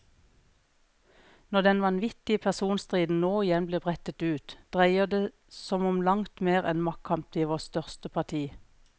Når den vanvittige personstriden nå igjen blir brettet ut, dreier det som om langt mer enn maktkamp i vårt største parti.